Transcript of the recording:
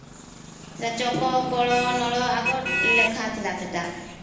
ଚକ କଳ ନଳ ଆଗ ଲେଖା ଥିଲା ସେଇଟା